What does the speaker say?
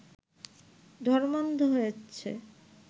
ধর্মান্ধ হচ্ছে